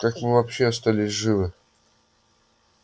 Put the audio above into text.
как мы вообще остались живы